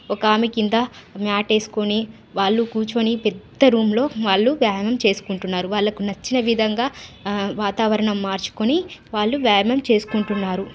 ఒక ఆమె కింద మాట్ ఎస్కోని వాళ్ళు కూర్చొని పెద్ద రూమ్ లో వాళ్ళు వ్యాయమం చేస్కుంటున్నారు వాళ్ళకు నచ్చిన విధంగా ఆ వాతావరణం మార్చుకొని వాళ్ళు వ్యాయామం చేస్కుంటున్నారు.